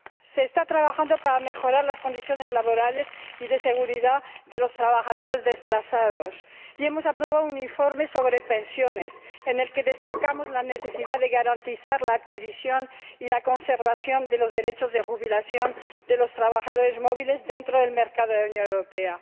Se está trabajando para mejorar las condiciones laborales y de seguridad de los trabajadores desplazados y hemos aprobado un informe sobre pensiones en el que destacamos la necesidad de garantizar la adquisición y la conservación de los derechos de jubilación de los trabajadores móviles dentro del mercado de la Unión Europea.